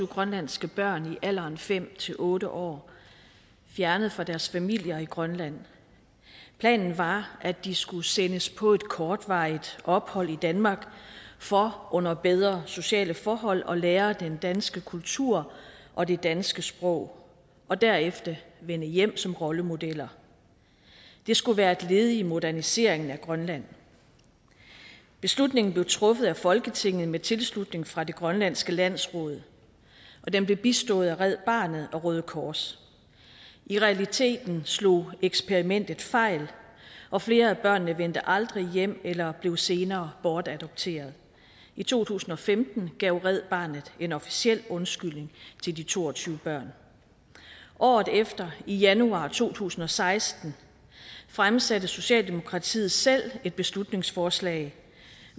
grønlandske børn i alderen fem otte år fjernet fra deres familier i grønland planen var at de skulle sendes på et kortvarigt ophold i danmark for under bedre sociale forhold at lære den danske kultur og det danske sprog og derefter vende hjem som rollemodeller det skulle være et led i moderniseringen af grønland beslutningen blev truffet af folketinget med tilslutning fra det grønlandske landsråd og den blev bistået af red barnet og røde kors i realiteten slog eksperimentet fejl og flere af børnene vendte aldrig hjem eller blev senere bortadopteret i to tusind og femten gav red barnet en officiel undskyldning til de to og tyve børn året efter i januar to tusind og seksten fremsatte socialdemokratiet selv et beslutningsforslag